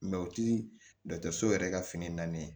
o ti dɔgɔtɔrɔso yɛrɛ ka fini naani ye